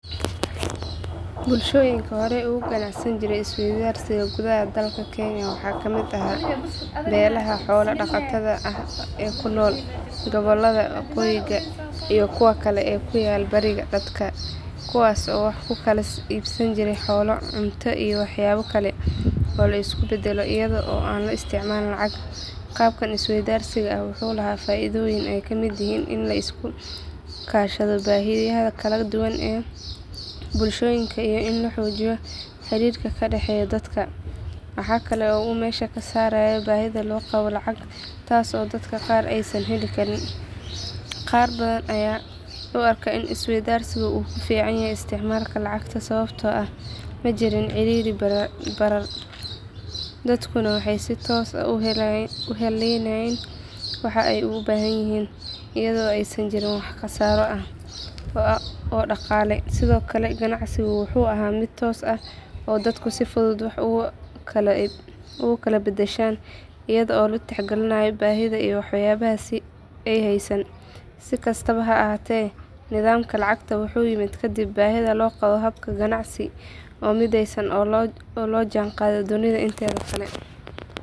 Bulshooyinka horey uga ganacsan jiray isweydaarsiga gudaha dalka kenya waxaa ka mid ahaa beelaha xoolo-dhaqatada ah ee ku nool gobollada waqooyi iyo kuwa kale ee ku yaal bariga dalka kuwaas oo wax ku kala iibsan jiray xoolo, cunto, iyo waxyaabo kale oo la isku beddelo iyada oo aan la isticmaalin lacag. Qaabkan isweydaarsiga ah wuxuu lahaa faa’iidooyin ay ka mid yihiin in la iska kaashado baahiyaha kala duwan ee bulshooyinka iyo in la xoojiyo xiriirka ka dhexeeya dadka. Waxaa kale oo uu meesha ka saarayay baahida loo qabo lacag taas oo dadka qaar aysan heli karin. Qaar badan ayaa u arka in isweydaarsigu uu ka fiicnaa isticmaalka lacagta sababtoo ah ma jirin sicir barar, dadkuna waxay si toos ah u helayeen waxa ay u baahan yihiin iyadoo aysan jirin wax khasaaro ah oo dhaqaale. Sidoo kale ganacsigu wuxuu ahaa mid toos ah oo dadku si fudud wax ugu kala beddeshaan iyada oo la tixgelinayo baahida iyo waxyaabaha ay heystaan. Si kastaba ha ahaatee nidaamka lacagta wuxuu yimid kadib baahida loo qabo hab ganacsi oo midaysan oo la jaanqaada dunida inteeda kale.